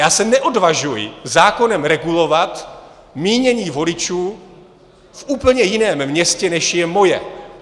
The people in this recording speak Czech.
Já se neodvažuji zákonem regulovat mínění voličů v úplně jiném městě, než je moje.